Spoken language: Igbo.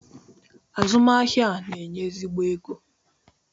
Azụmahịa a na-enye ezigbo ego.